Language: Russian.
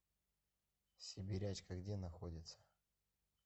сибирячка где находится